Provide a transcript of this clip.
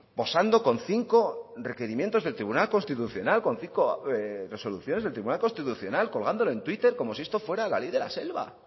posando con cinco requerimientos del tribunal constitucional con cinco resoluciones del tribunal constitucional colgándolo en twitter como si esto fuera la ley de la selva